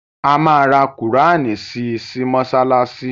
A ma ra qùránì si sí mọ́ṣáláṣí